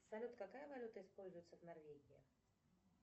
салют какая валюта используется в норвегии